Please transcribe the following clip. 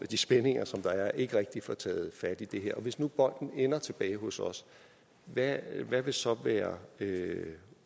de spændinger som der er ikke rigtig får taget fat i det her og hvis nu bolden ender tilbage hos os hvad vil så være